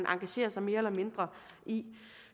engagerer sig mere eller mindre i